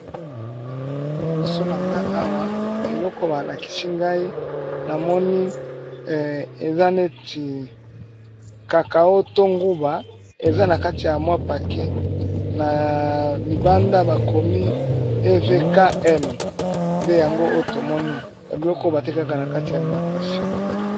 Liboso na nga awan eloko balakisi ngai namoni eza neti kakao to nguba eza na kati ya mwa pake na libanda bakomi ev km nde yango oyo tomoni na biloko batekaka na kati ya alimitation.